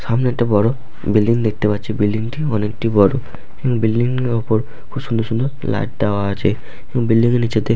সামনে একটি বড় বিল্ডিং দেখতে পাচ্ছি বিল্ডিং টি অনেক বড় এবং বিল্ডিং এর ওপর খুব সুন্দর সুন্দর ফ্ল্যাট দেওয়া আছে এবং বিল্ডিং টির নিচেতে--